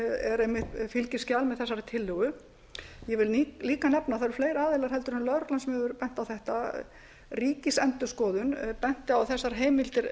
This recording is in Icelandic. er einmitt fylgiskjal með þessari tillögu ég vil líka nefna að það eru fleiri aðilar heldur en lögreglan sem hefur bent á þetta ríkisendurskoðun benti á að þessar heimildir